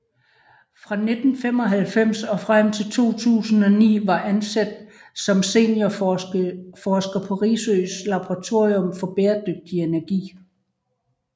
Fra 1995 og frem til 2009 var ansat som seniorforsker på Risøs laboratorium for bæredygtig energi